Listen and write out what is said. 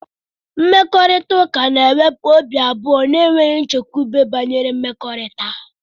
Mkparịta ụka na-ewepụ obi abụọ na enweghị nchekwube banyere mmekọrịta.